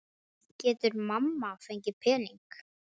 Getur mamma fengið pening?